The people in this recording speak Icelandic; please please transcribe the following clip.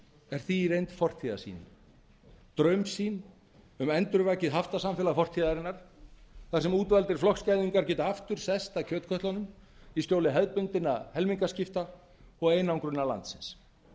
er því fortíðarsýn draumsýn um endurvakið haftasamfélag fortíðarinnar þar sem útvaldir flokksgæðingar geta aftur sest að kjötkötlunum í skjóli hefðbundinna helmingaskipta og einangrunar landsins